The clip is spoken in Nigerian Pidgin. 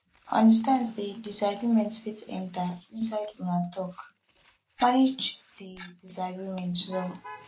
understand sey disagreement fit enter inside una talk manage di disagreement well